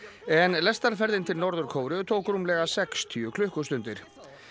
en til Norður Kóreu tók rúmlega sextíu klukkustundir